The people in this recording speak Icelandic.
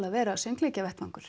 að vera